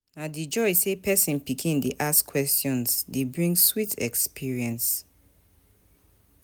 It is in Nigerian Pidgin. Na di joy sey pesin pikin dey ask questions dey bring sweet experience.